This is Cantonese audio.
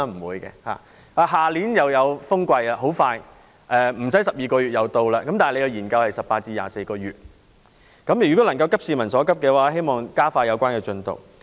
明年又有颱風季節，不用等12個月便來到，但該研究需時18個月至24個月，希望政府能急市民所急，加快研究進度。